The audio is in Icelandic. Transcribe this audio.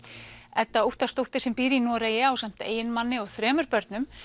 Edda Óttarsdóttir sem býr í Noregi ásamt eiginmanni og þrem börnum